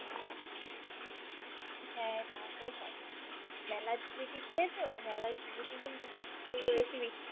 হ্যা তা তো হয় । মেলার জিলাবি খেয়েছো? মেলার জিলাবি কিন্তু সবথেকে বেশি বিখ্যাতো